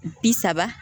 Bi saba